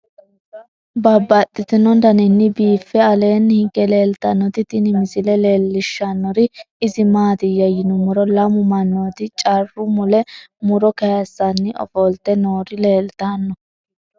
Babaxxittinno daninni biiffe aleenni hige leelittannotti tinni misile lelishshanori isi maattiya yinummoro lamu manootti carru mule muro kayiisanni offolitte noor leelittanno